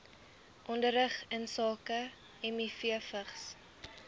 onderrig insake mivvigs